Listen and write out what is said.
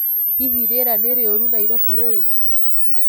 hĩhĩ rĩera ni riurũ nairobi riu